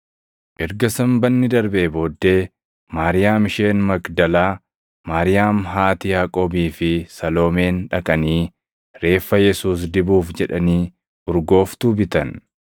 Erga Sanbanni darbee booddee Maariyaam isheen Magdalaa, Maariyaam haati Yaaqoobii fi Saloomeen dhaqanii reeffa Yesuus dibuuf jedhanii urgooftuu bitan.